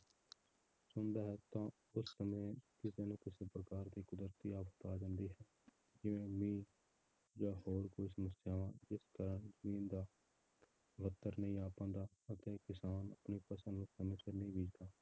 ਚਾਹੁੰਦਾ ਹੈ ਤਾਂ ਉਸ ਸਮੇਂ ਕਿਸੇ ਨਾ ਕਿਸੇ ਪ੍ਰਕਾਰ ਦੀ ਕੁਦਰਤੀ ਆਫ਼ਤ ਆ ਜਾਂਦੀ ਹੈ, ਜਿਵੇਂ ਮੀਂਹ ਜਾਂ ਹੋਰ ਕੋਈ ਸਮੱਸਿਆਵਾਂ ਜਿਸ ਤਰ੍ਹਾਂ ਜ਼ਮੀਨ ਦਾ ਨੀ ਆ ਪਾਉਂਦਾ ਅਤੇ ਕਿਸਾਨ ਆਪਣੀ ਫਸਲ ਨੂੰ ਸਮੇਂ ਸਿਰ ਨਹੀਂ ਬੀਜਦਾ।